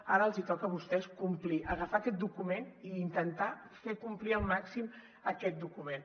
ara els toca a vostès complir agafar aquest document i intentar fer complir al màxim aquest document